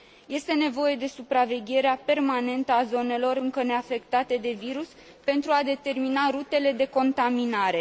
Este nevoie de supravegherea permanentă a zonelor încă neafectate de virus pentru a determina rutele de contaminare.